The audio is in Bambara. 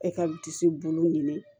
E ka disi bolo ɲini